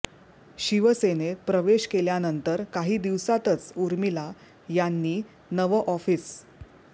शिवसेनेत प्रवेश केल्यानंतर काही दिवसातच उर्मिला यांनी नवं ऑफिस